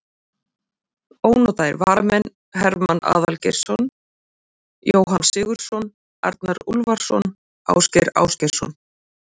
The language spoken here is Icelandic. Ónotaðir varamenn: Hermann Aðalgeirsson, Jóhann Sigurðsson, Arnar Úlfarsson, Ásgeir Ásgeirsson.